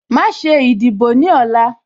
Má ṣe ìdìbò ní ọ̀la